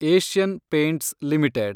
Asian Paints limited